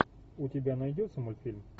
у тебя найдется мультфильм